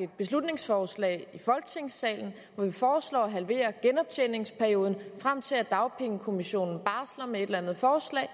et beslutningsforslag i folketingssalen hvor vi foreslår at halvere genoptjeningsperioden frem til at dagpengekommissionen barsler med et eller andet forslag